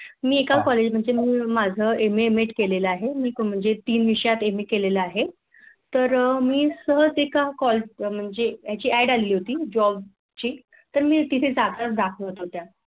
मी एक आ College म्हणजे मी माझं MA M Ed केलेलं आहे मी म्हणजे तीन विषयात MA केलेले आहे. तर मी सहज एका Add आली होती Job ची मी तिथे जागा दाखवत होत्या